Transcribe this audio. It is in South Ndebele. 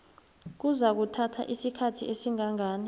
kuzakuthatha isikhathi esingangani